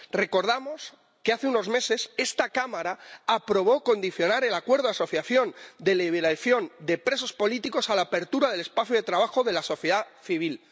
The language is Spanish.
Recordamos que hace unos meses esta Cámara aprobó condicionar el Acuerdo de Asociación a la liberación de presos políticos, a la apertura del espacio de trabajo de la sociedad civil.